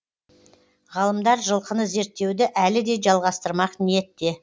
ғалымдар жылқыны зерттеуді әлі де жалғастырмақ ниетте